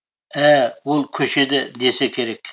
ә ол көшеде десе керек